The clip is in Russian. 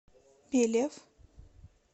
белев